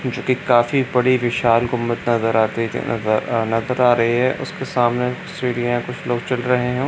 जो एक काफी बड़ी विशाल गुमब्द नजर आती अ नजर नजर आ रही है उसके सामने सीढ़िया कुछ लोग चल रहे है।